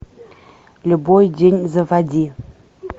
любой день заводи